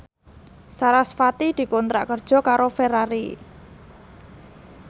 sarasvati dikontrak kerja karo Ferrari